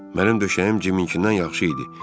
Mənim döşəyim Ciminkindən yaxşı idi.